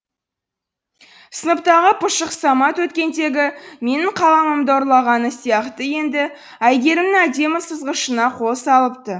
сыныптағы пұшық самат өткендегі менің қаламымды ұрлағаны сияқты енді әйгерімнің әдемі сызғышына қол салыпты